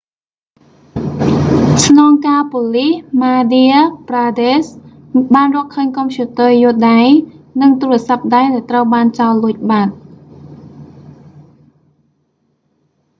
ស្នងការប៉ូលីសម៉ាឌា ប្រាដេស្ហ the madhya pradesh police បានរកឃើញកុំព្យូទ័រយួរដៃ និងទូរសព្ទដៃដែលត្រូវបានចោរលួចបាត់